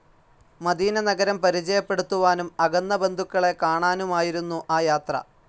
Medina നഗരം പരിചയപ്പെടുത്തുവാനും അകന്ന ബന്ധുക്കളെ കാണാനുമായിരുന്നു ആ യാത്ര.